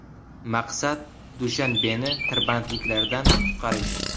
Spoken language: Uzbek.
Maqsad Dushanbeni tirbandliklardan qutqarish.